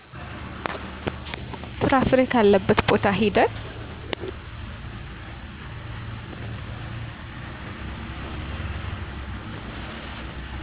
ፍራፍሬ ካለበት ቦታ ሂደን